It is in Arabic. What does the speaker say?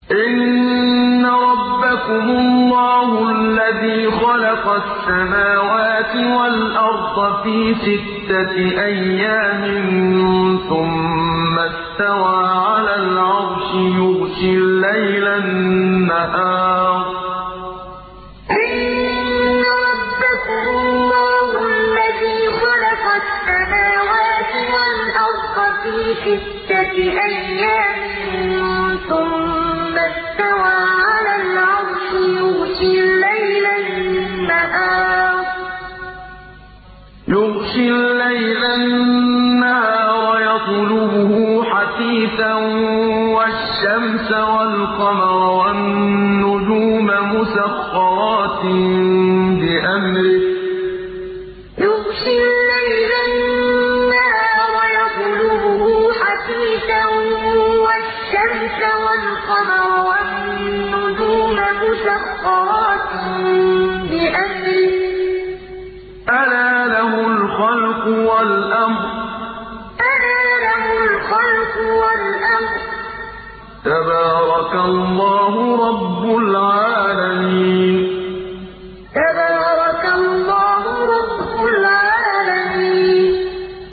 إِنَّ رَبَّكُمُ اللَّهُ الَّذِي خَلَقَ السَّمَاوَاتِ وَالْأَرْضَ فِي سِتَّةِ أَيَّامٍ ثُمَّ اسْتَوَىٰ عَلَى الْعَرْشِ يُغْشِي اللَّيْلَ النَّهَارَ يَطْلُبُهُ حَثِيثًا وَالشَّمْسَ وَالْقَمَرَ وَالنُّجُومَ مُسَخَّرَاتٍ بِأَمْرِهِ ۗ أَلَا لَهُ الْخَلْقُ وَالْأَمْرُ ۗ تَبَارَكَ اللَّهُ رَبُّ الْعَالَمِينَ إِنَّ رَبَّكُمُ اللَّهُ الَّذِي خَلَقَ السَّمَاوَاتِ وَالْأَرْضَ فِي سِتَّةِ أَيَّامٍ ثُمَّ اسْتَوَىٰ عَلَى الْعَرْشِ يُغْشِي اللَّيْلَ النَّهَارَ يَطْلُبُهُ حَثِيثًا وَالشَّمْسَ وَالْقَمَرَ وَالنُّجُومَ مُسَخَّرَاتٍ بِأَمْرِهِ ۗ أَلَا لَهُ الْخَلْقُ وَالْأَمْرُ ۗ تَبَارَكَ اللَّهُ رَبُّ الْعَالَمِينَ